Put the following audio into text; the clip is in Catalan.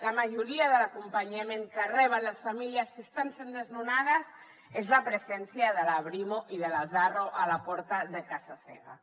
la majoria de l’acompanyament que reben les famílies que estan sent desnonades és la presència de la brimo i de l’arro a la porta de casa seva